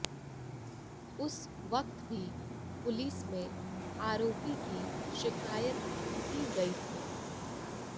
उस वक्त भी पुलिस में आरोपी की शिकायत की गई थी